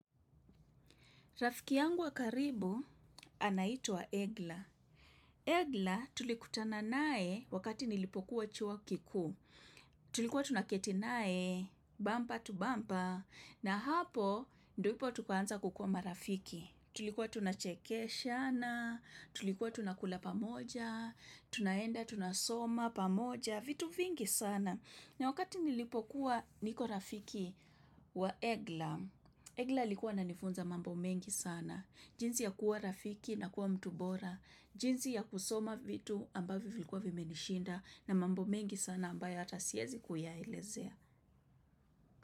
Rafiki yangu wa karibu anaitwa Egla. Egla tulikutana naye wakati nilipokuwa chuo kikuu Tulikuwa tunaketi naye, bamba to bamba, na hapo ndipo tukaanza kukuwa marafiki. Tulikuwa tunachekeshana, tulikuwa tunakula pamoja, tunaenda tunasoma pamoja, vitu vingi sana. Na wakati nilipokuwa niko rafiki wa Egla, Egla alikuwa ananifunza mambo mengi sana, jinsi ya kuwa rafiki na kuwa mtu bora, jinsi ya kusoma vitu ambayvyo vilikuwa vimenishinda na mambo mengi sana ambayo hata siezi kuyaelezea.